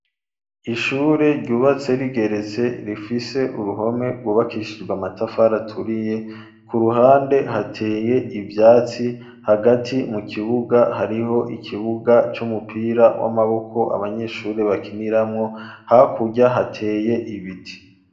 Ishuri, ryubatse rigeretse, rifise uruhome rwubakishijwe amatafari aturiye, ku ruhande, hateye ivyatsi, hagati mu kibuga, hariho ikibuga c'umupira w'amaboko, abanyeshure bakiniramwo; hakurya, hateye ibiti.